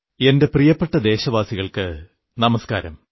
എന്റെ പ്രിയപ്പെട്ട ദേശവാസികൾക്കു നമസ്കാരം